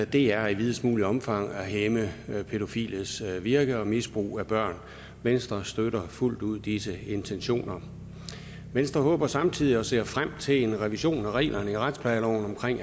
det er i videst muligt omfang at hæmme pædofiles virke og misbrug af børn venstre støtter fuldt ud disse intentioner venstre håber samtidig på og ser frem til en revision af reglerne i retsplejeloven om